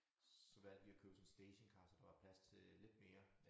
Så valgte vi at købe sådan en stationcar så der var plads til lidt mere